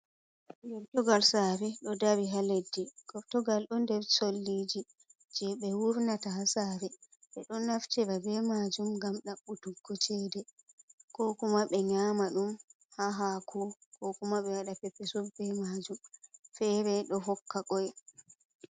Gertogal sari ɗo dari ha leddi, gortogal ɗo nder solliji je ɓe wurnata ha sari ɓeɗo naftiraa be majum gam ɗaɓɓutuggo cede, ko kuma ɓe nyama ɗum ha hako ko kuma ɓe waɗa peppesu be majum fere ɗo hokka koy.